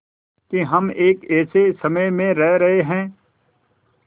कि हम एक ऐसे समय में रह रहे हैं